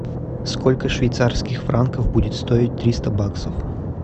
сколько швейцарских франков будет стоить триста баксов